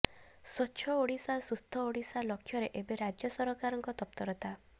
ସ୍ୱଚ୍ଛ ଓଡ଼ିଶା ସୁସ୍ଥ ଓଡ଼ିଶା ଲକ୍ଷ୍ୟରେ ଏବେ ରାଜ୍ୟ ସରକାରଙ୍କ ତତ୍ପରତା